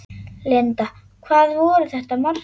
Linda: Hvað voru þetta margir?